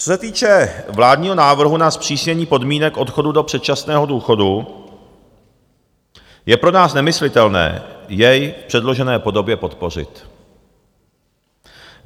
Co se týče vládního návrhu na zpřísnění podmínek odchodu do předčasného důchodu, je pro nás nemyslitelné jej v předložené podobě podpořit.